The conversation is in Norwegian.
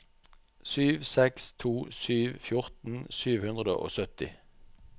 sju seks to sju fjorten sju hundre og sytti